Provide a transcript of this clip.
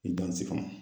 Ntɛnɛnsi kɔnɔ